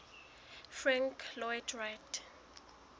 frank lloyd wright